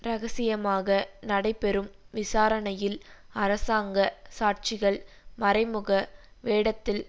ரகசியமாக நடைபெறும் விசாரணையில் அரசாங்க சாட்சிகள் மறைமுக வேடத்தில்